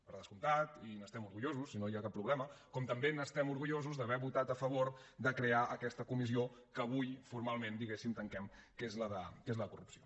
per descomptat i n’estem orgullosos i no hi ha cap problema com també estem orgullosos d’haver votat a favor de crear aquesta comissió que avui formalment diguem ne tanquem que és la de corrupció